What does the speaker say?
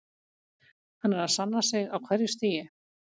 Hann er að sanna sig á hverju stigi.